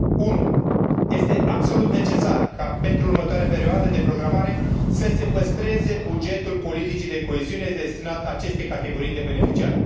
1. este absolut necesar ca pentru următoarea perioadă de programare să se păstreze bugetul politicii de coeziune destinat acestei categorii de beneficiari